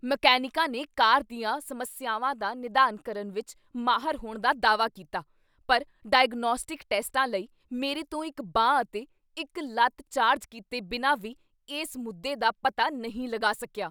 ਮਕੈਨਿਕਾਂ ਨੇ ਕਾਰ ਦੀਆਂ ਸਮੱਸਿਆਵਾਂ ਦਾ ਨਿਦਾਨ ਕਰਨ ਵਿੱਚ ਮਾਹਰ ਹੋਣ ਦਾ ਦਾਅਵਾ ਕੀਤਾ ਪਰ 'ਡਾਇਗਨੌਸਟਿਕ ਟੈਸਟਾਂ' ਲਈ ਮੇਰੇ ਤੋਂ ਇੱਕ ਬਾਂਹ ਅਤੇ ਇੱਕ ਲੱਤ ਚਾਰਜ ਕੀਤੇ ਬਿਨਾਂ ਵੀ ਇਸ ਮੁੱਦੇ ਦਾ ਪਤਾ ਨਹੀਂ ਲਗਾ ਸਕਿਆ?